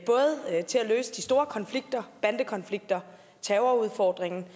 der er til at løse de store konflikter bandekonflikter terrorudfordringen